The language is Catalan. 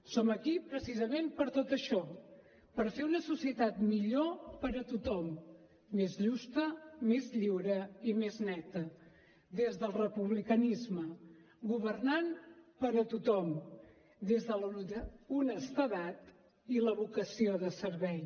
som aquí precisament per tot això per fer una societat millor per a tothom més justa més lliure i més neta des del republicanisme governant per a tothom des de l’honestedat i la vocació de servei